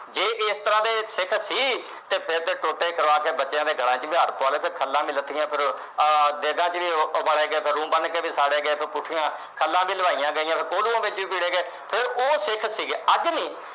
ਜੇ ਇਸ ਤਰ੍ਹਾਂ ਦੇ ਸਿੱਖ ਸੀ ਤੇ ਫਿਰ ਤਾਂ ਟੋਟੇ ਕਰਾਕੇ ਬੱਚਿਆਂ ਦੇ ਗਲਾਂ ਵਿੱਚ ਵਿਹਾਰ ਪੁਆ ਲੈਂਦੇ, ਖੱਲਾਂ ਵੀ ਲੱਥੀਆਂ ਫਿਰ ਦੇਗਾਂ ਚ ਵੀ ਉਬਾਲੇ ਗਏ, ਫਿਰ ਰੂੰ ਬੰਨ੍ਹ ਕੇ ਵੀ ਸਾੜੇ ਗਏ, ਖਲਾਂ ਵੀ ਲੁਆਹੀਆਂ ਗਈਆਂ, ਫਿਰ ਕੋਹੜੂ ਵਿੱਚ ਵੀ ਪੀੜੇ ਗਏ, ਫਿਰ ਉਹ ਸਿੱਖ ਸੀਗੇ, ਅੱਜ ਨੀ।